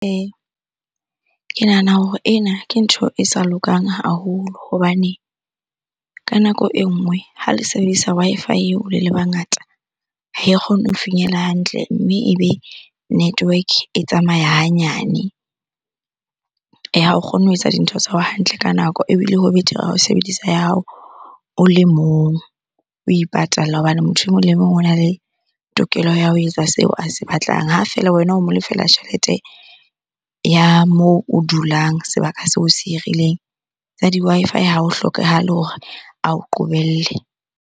ke nahana hore ena ke ntho e sa lokang haholo hobane ka nako e nngwe ha le sebedisa Wi-Fi eo le le bangata, ha e kgone ho finyella hantle mme ebe network e tsamaya hanyane. Eya, ha o kgonne ho etsa dintho tsa hao hantle ka nako. Ebile ho betere ha o sebedisa ya hao o le mong, o ipatalla hobane motho e mong le mong ona le tokelo ya ho etsa seo a se batlang ha feela wena o mo lefela tjhelete ya moo o dulang sebaka seo se hirileng. Tsa di-Wi-Fi ha o hlokahale hore ao qobelle.